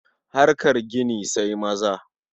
Harkar gini sai maza.